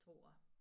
Tror jeg